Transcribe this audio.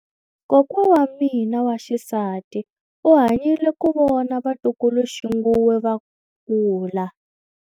Kokwa wa mina wa xisati u hanyile ku vona vatukuluxinghuwe va kula.